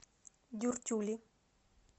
дюртюли